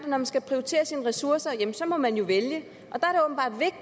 man skal prioritere sine ressourcer så må man jo vælge og der